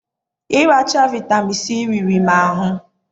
ịracha vitamin C riri m ahụ